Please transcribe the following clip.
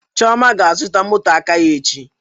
Chioma ga azụta moto aka ya echi